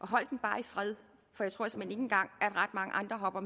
bare i fred for jeg tror såmænd ikke engang at ret mange andre hopper